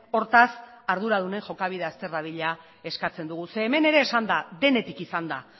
hortaz arduradunen jokabidea azter dadila eskatzen dugu ze hemen ere esan da denetik izan da